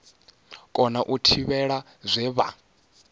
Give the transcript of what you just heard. kona u tevhela zwe vha